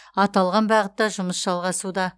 аталған бағытта жұмыс жалғасуда